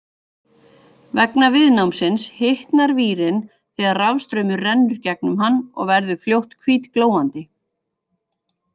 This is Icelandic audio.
Vegna viðnámsins hitnar vírinn þegar rafstraumur rennur gegnum hann og verður fljótt hvítglóandi.